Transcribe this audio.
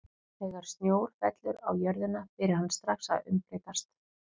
Þegar snjór fellur á jörðina byrjar hann strax að umbreytast.